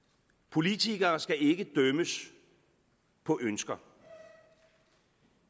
politikere skal ikke dømmes på ønsker